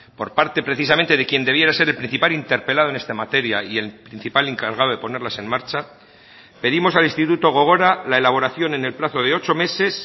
por parte precisamente de quien debiera ser el principal interpelado en esta materia y el principal encargado de ponerlas en marcha pedimos al instituto gogora la elaboración en el plazo de ocho meses